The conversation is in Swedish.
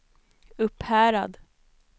Upphärad